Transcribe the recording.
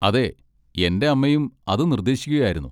അതെ, എന്റെ അമ്മയും അത് നിർദ്ദേശിക്കുകയായിരുന്നു.